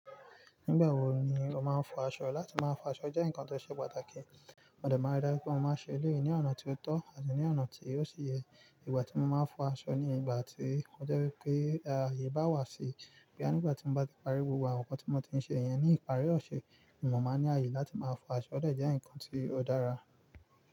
Nígbà wo ni o máa ń fọ aṣọ? Lati máa fọ aṣọ jẹ́ nǹkan tó ṣe pàtàkì. Mo de máa ń ri dáju pé mo máa ń ṣe eleyi ní ọ̀nà tó tọ́ àti ní ọ̀nà tí o si yẹ. Ìgbà tí mo máa ń fọ aṣọ ni ìgbà tí o jẹ́ wípé ààyè bá wà sí. Nígbà tí mo bá ti parí gbogbo àwọn nǹkan tí mo ti ń ṣe, èèyàn ní ìparí ọ̀ṣẹ̀, ni mo máa ń ní ààyè láti máa fọ aṣọ ode jẹ́ ǹkan tí ó dára.